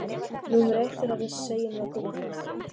Númer eitt er að við segjum löggan frá þér.